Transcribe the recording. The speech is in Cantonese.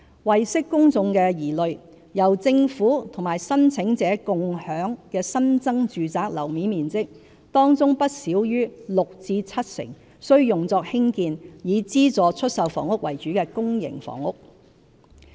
為釋公眾疑慮，由政府與申請者"共享"的新增住宅樓面面積，當中不少於六成至七成須用作興建以資助出售房屋為主的公營房屋。